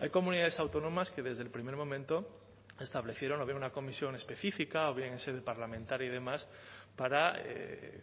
hay comunidades autónomas que desde el primer momento establecieron o había una comisión específica o bien en sede parlamentaria y demás para